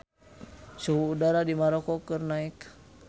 Suhu udara di Maroko keur naek